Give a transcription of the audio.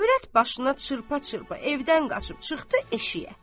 Övrət başına çırpa-çırpa evdən qaçıb çıxdı eşiyə.